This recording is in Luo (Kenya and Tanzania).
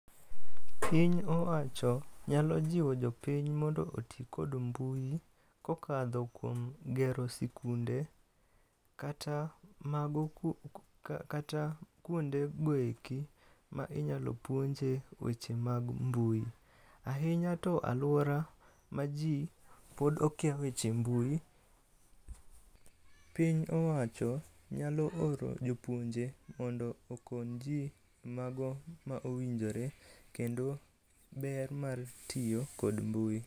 piny owacho nyalo jiwo jopiny mondo oti kod mbui kokalo kuom gero sikunde kata kuonde go eki ma inyalo puonje weche mag mbui ,ahinya to aluora ma ji pog okia weche mbui, piny owacho nyalo oro jopuonje mondo okon ji mago ma owinjore kendo ber mar tiyo kod mbui